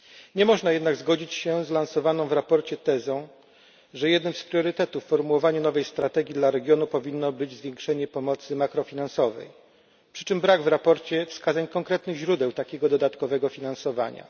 Nie można jednak zgodzić się z lansowaną w raporcie tezą, że jednym z priorytetów w formułowaniu nowej strategii dla regionu powinno być zwiększenie pomocy makrofinansowej przy czym brak w raporcie wskazań konkretnych źródeł takiego dodatkowego finansowania.